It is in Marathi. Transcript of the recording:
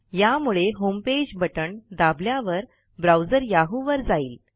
यामुळे होमपेज बटण दाबल्यावर ब्राऊजर याहू वर जाईल